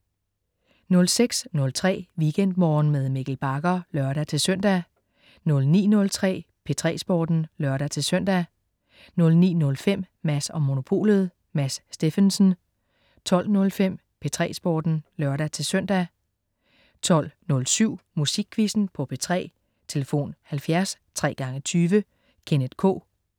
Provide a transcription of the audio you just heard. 06.03 WeekendMorgen med Mikkel Bagger (lør-søn) 09.03 P3 Sporten (lør-søn) 09.05 Mads & Monopolet. Mads Steffensen 12.05 P3 Sporten (lør-søn) 12.07 Musikquizzen på P3. Tlf.: 70 20 20 20. Kenneth K